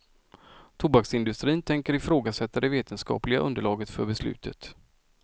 Tobaksindustrin tänker ifrågasätta det vetenskapliga underlaget för beslutet.